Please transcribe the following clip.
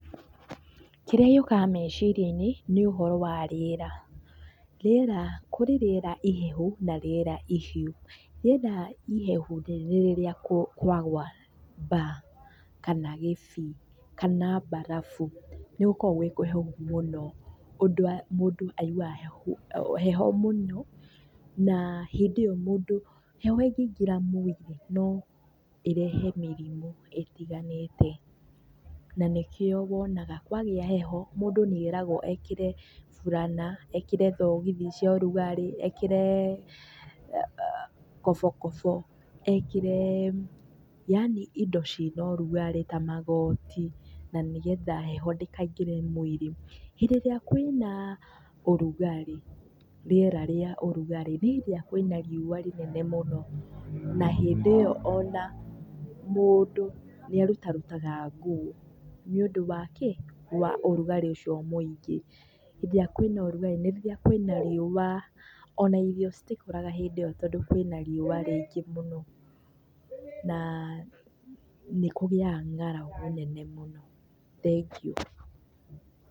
Kĩrĩa gĩukaga meciria-inĩ nĩ ũhoro wa rĩera. Kũrĩ rĩera ihehu na rĩera ihiũ. Rĩera ĩhehu rĩ nĩ rĩrĩa kwagũa mbaa kana kĩbii kana mbarabu nĩ gũkoragwo gwĩ kũhehu mũno ũndũ mũndũ aiguaga heho mũno na hĩndĩ ĩyo mũndũ heho ĩngĩingĩra mwĩrĩ no ĩrehe mĩrimũ ĩtiganĩte. Na nĩkĩo wonaga kwagĩa heho mũndũ nĩeragwo ekĩre burana, ekĩre thogithi cia ũrugarĩ, ekĩre kobokobo ekĩre yaani indo ciĩna ũrugarĩ ta magoti na nĩgetha heho ndĩkaingĩre mwĩrĩ. Hĩndĩ ĩrĩa kwĩna ũrugarĩ rĩera rĩa ũrugarĩ nĩ hĩndĩ ĩrĩa kwĩna riũa rinene mũno, na hĩndĩ ĩyo ona mũndũ nĩarutarutaga nguo nĩũndũ wa kĩĩ wa ũrugarĩ ũcio mũingĩ. Hĩndĩ ĩrĩa kwĩna ũrugarĩ nĩ rĩrĩa kwĩna riũa ona irio citikũraga hĩndĩ ĩyo nĩ ũrĩa kwĩna riũa rĩingĩ mũno na nĩkũgĩaga ng'aragu nene mũno. Thengiũ.